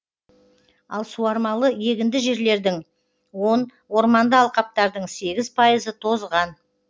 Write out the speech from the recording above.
ал суармалы егінді жерлердің он орманды алқаптардың сегіз пайызы тозған